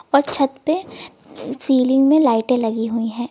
और छत पे सीलिंग में लाइटें लगी हुई है।